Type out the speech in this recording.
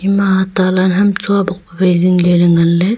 ema athale hamcho bok wai jingle nganle.